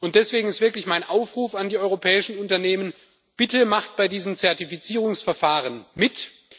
Deswegen ist mein Aufruf an die europäischen Unternehmen Bitte macht bei diesen Zertifizierungsverfahren mit!